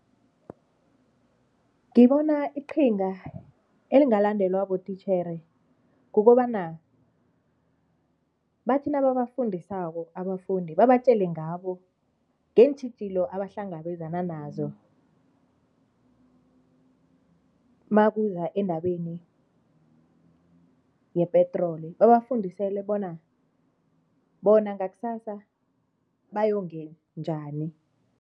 Ngibona iqhinga elingalandelwa botitjhere kukobana bathi nababafundisako abafundi, babatjele ngabo ngeentjhijilo abahlangabezana nakuza endabeni yepetroli babafundisele bona, bona ngakusasa bayonge njani.